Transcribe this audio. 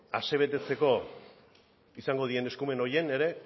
asebetetzeko izango diren eskumen horien ere